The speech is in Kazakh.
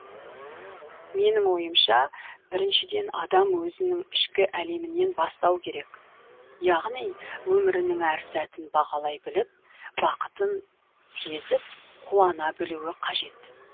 менің ойымша біріншіден адам өзінің ішкі әлемінен бастау керек яғни өмірінің әр сәтін бағалай біліп бақытын сезіп қуана білуі қажет